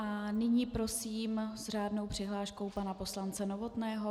A nyní prosím s řádnou přihláškou pana poslance Novotného.